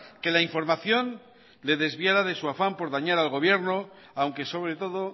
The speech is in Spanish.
que la información le desviará de su afán por dañar al gobierno aunque sobre todo